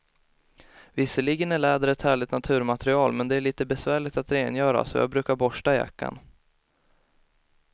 Visserligen är läder ett härligt naturmaterial, men det är lite besvärligt att rengöra, så jag brukar borsta jackan.